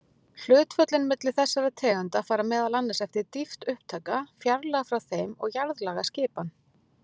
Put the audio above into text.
Hlutföllin milli þessara tegunda fara meðal annars eftir dýpt upptaka, fjarlægð frá þeim og jarðlagaskipan.